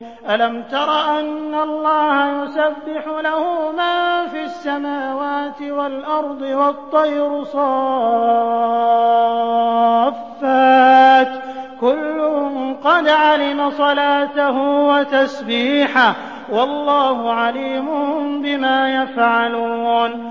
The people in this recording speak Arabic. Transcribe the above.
أَلَمْ تَرَ أَنَّ اللَّهَ يُسَبِّحُ لَهُ مَن فِي السَّمَاوَاتِ وَالْأَرْضِ وَالطَّيْرُ صَافَّاتٍ ۖ كُلٌّ قَدْ عَلِمَ صَلَاتَهُ وَتَسْبِيحَهُ ۗ وَاللَّهُ عَلِيمٌ بِمَا يَفْعَلُونَ